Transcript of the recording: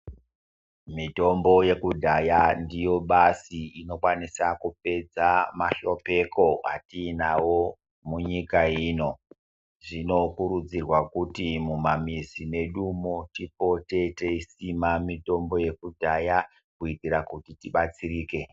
Mitombo ye kudhaya ndiyo basi inokwanisa kupedza ma hlopeko atinawo mu nyika ino zvino kurudzirwa kuti muma mizi medu mo tipote teisima mitombo yeku dhaya kuitira kuti tibatsirike.